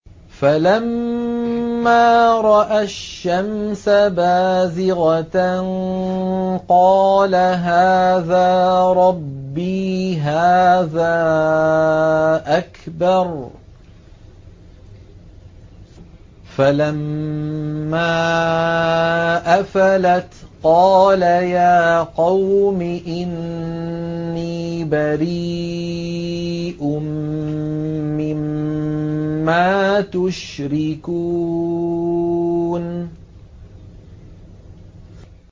فَلَمَّا رَأَى الشَّمْسَ بَازِغَةً قَالَ هَٰذَا رَبِّي هَٰذَا أَكْبَرُ ۖ فَلَمَّا أَفَلَتْ قَالَ يَا قَوْمِ إِنِّي بَرِيءٌ مِّمَّا تُشْرِكُونَ